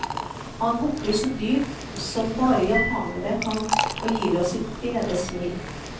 Han bukker så dypt som bare japanere kan, og gir oss sitt brede smil.